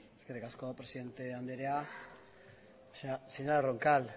eskerrik asko presidente andrea señora roncal